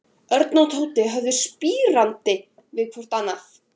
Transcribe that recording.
Örn og Tóti horfðu spyrjandi hvor á annan.